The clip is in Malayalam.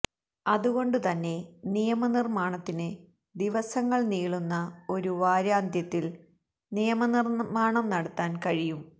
അതുകൊണ്ടുതന്നെ നിയമനിർമ്മാണത്തിന് ദിവസങ്ങൾ നീളുന്ന ഒരു വാരാന്ത്യത്തിൽ നിയമനിർമ്മാണം നടത്താൻ കഴിയും